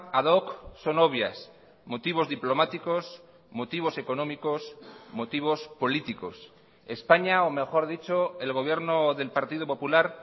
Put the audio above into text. ad hoc son obvias motivos diplomáticos motivos económicos motivos políticos españa o mejor dicho el gobierno del partido popular